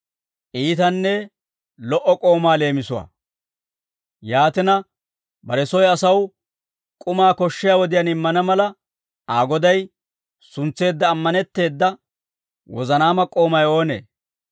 «Yaatina, bare soy asaw k'umaa koshshiyaa wodiyaan immana mala, Aa goday suntseedda ammanetteeda wozanaama k'oomay oonee?